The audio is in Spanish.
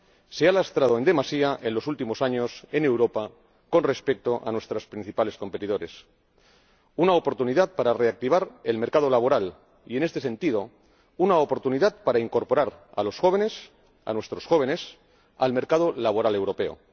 se ha lastrado en demasía en los últimos años en Europa con respecto a nuestros principales competidores, oportunidad para reactivar el mercado laboral y, en este sentido, oportunidad para incorporar a los jóvenes —a nuestros jóvenes— al mercado laboral europeo.